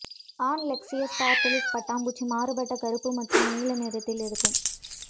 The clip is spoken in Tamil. ஆண் லெக்ஷியஸ் பார்டாலிஸ் பட்டாம்பூச்சி மாறுபட்ட கருப்பு மற்றும் நீல நிறத்தில் இருக்கும்